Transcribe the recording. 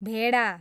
भेडा